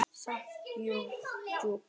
Samt djúp.